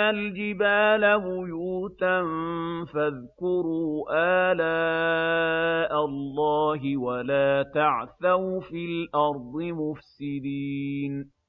الْجِبَالَ بُيُوتًا ۖ فَاذْكُرُوا آلَاءَ اللَّهِ وَلَا تَعْثَوْا فِي الْأَرْضِ مُفْسِدِينَ